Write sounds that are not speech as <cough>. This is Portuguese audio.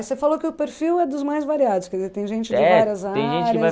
E você falou que o perfil é dos mais variados, quer dizer, tem gente <unintelligible>